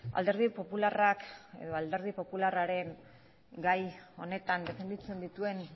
alderdi popularraren gai honetan defenditzen dituen